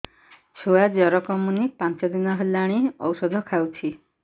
ଛୁଆ ଜର କମୁନି ପାଞ୍ଚ ଦିନ ହେଲାଣି ଔଷଧ ଖାଉଛି